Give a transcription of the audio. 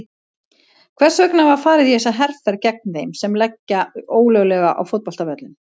Hvers vegna var farið í þessa herferð gegn þeim sem leggja ólöglega á fótboltavöllum?